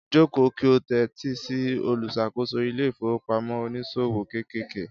Joko ki o tẹ́tí sí olùṣàkóso ilé ìfowópamọ́ oníṣòwò kéékèèké.